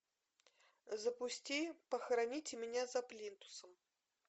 запусти похороните меня за плинтусом